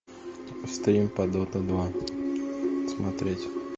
стрим по дота два смотреть